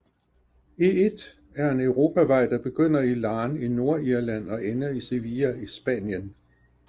E1 er en europavej der begynder i Larne i Nordirland og ender i Sevilla i Spanien